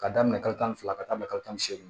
K'a daminɛ kalo tan ni fila ka taa bila kalo tan